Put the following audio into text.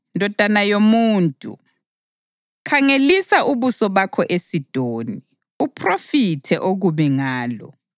“Ndodana yomuntu, khangelisa ubuso bakho eSidoni; uphrofithe okubi ngalo